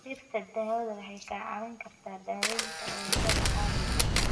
Dhirta daawada waxay ka caawin kartaa daaweynta cudurada caadiga ah.